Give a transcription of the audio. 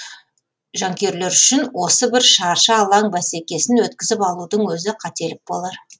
жанкүйерлер үшін осы бір шаршы алаң бәсекесін өткізіп алудың өзі қателік болар